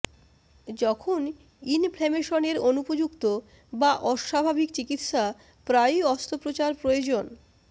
যখন ইনফ্ল্যামেশনের অনুপযুক্ত বা অস্বাভাবিক চিকিত্সা প্রায়ই অস্ত্রোপচার প্রয়োজন